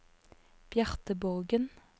Bjarte Borgen